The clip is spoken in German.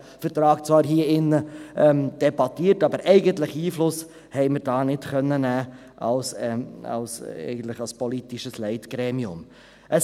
Wir debattierten diesen Vertrag zwar hier in diesem Saal, aber Einfluss nehmen konnten wir dort als politisches Leitgremium eigentlich nicht.